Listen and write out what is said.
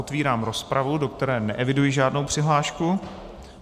Otevírám rozpravu, do které neeviduji žádnou přihlášku.